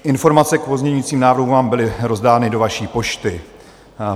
Informace k pozměňovacím návrhům vám byly rozdány do vaší pošty.